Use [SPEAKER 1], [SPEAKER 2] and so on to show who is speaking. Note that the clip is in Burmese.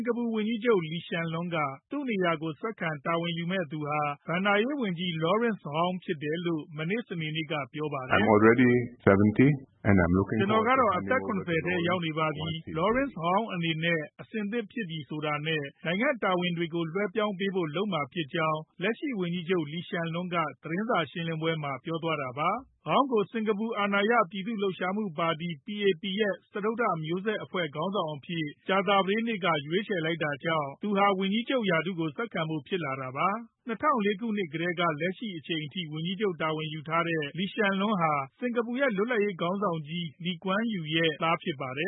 [SPEAKER 1] ်ကာပူဝန်ကြီးချုပ် Lee Hsien Loong က သူ့နေရာကို ဆက်ခံ တာဝန်ယူမယ့်သူဟာ ဘဏ္ဍာရေးဝန်ကြီး Lawrence Wong ဖြစ်တယ်လို့ မနေ့ စနေနေ့က ပြောဆိုလိုက်ပါ
[SPEAKER 2] တယ်။ "ကျနော်ကတော့ အသက် ၇ဝ
[SPEAKER 1] ထဲ ရောက်နေပါပြီ။ Lawrence Wong အနေနဲ့ အဆင်သင့်ဖြစ်ပြီ ဆိုတာနဲ့ နိုင်ငံတာဝန်တွေကို လွှဲပြောင်းပေးဖို့ လုပ်မှာဖြစ်ကြောင်း” လက်ရှိဝန်ကြီးချုပ် Lee Hsien Loong က သတင်းစာရှင်းလင်းပွဲမှာ ပြောသွားတာပါ။ Wong ကို စင်ကာပူ အာဏာရ ပြည်သူ့လှုပ်ရှားမှုပါတီ (PAP) ရဲ့ စတုတ္ထမျိုးဆက်အဖွဲ့ ခေါင်းဆောင်အဖြစ် ကြာသပတေးနေ့က ရွေးချယ်လိုက်တာကြောင့် သူဟာ ဝန်ကြီးချုပ်ရာထူးကို ဆက်ခံဖို့ ဖြစ်လာတာပါ။ ၂ဝဝ၄ ခုနှစ်ကတည်းကနေ လက်ရှိအချိန်အထိ ဝန်ကြီးချုပ်တာဝန်ယူထားတဲ့ Lee Hsien Loong ဟာ စင်ကာပူနိုင်ငံရဲ့လွတ်လပ်ရေးခေါင်းဆောင်ကြ
[SPEAKER 3] ီး Lee Kwan Yew ရဲ့ သားဖြစ်ပါတယ